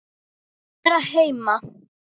Að vera heima.